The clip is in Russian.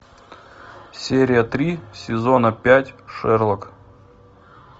серия три сезона пять шерлок